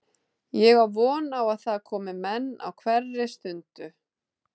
Ég á von á að það komi menn á hverri stundu.